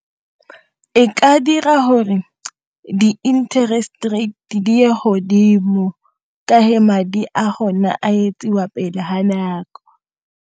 E ka dira gore di-interest rate ye godimo ka ge madi a gone a etsiwa pele ga nako.